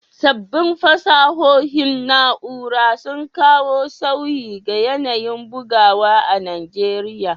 Sabbin fasahohin na’ura sun kawo sauyi ga yanayin bugawa a Najeriya.